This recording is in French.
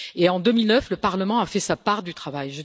En 2009, le Parlement a fait sa part du travail.